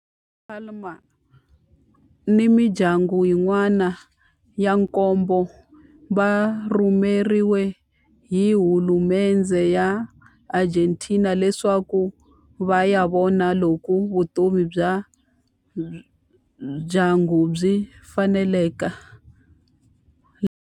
Palma ni mindyangu yin'wana ya nkombo va rhumeriwe hi hulumendhe ya le Argentina leswaku va ya vona loko vutomi bya ndyangu byi faneleka laha.